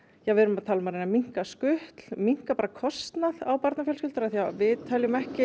við erum að tala um að reyna að minnka skutl minnka kostnað á barnafjölskyldur af því að við teljum